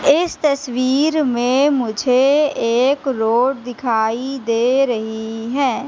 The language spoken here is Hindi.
इस तस्वीर में मुझे एक रोड दिखाई दे रही है।